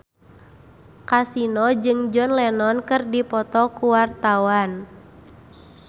Kasino jeung John Lennon keur dipoto ku wartawan